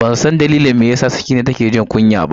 Bansan dalilin da yasa Sakina take jin kunya ba.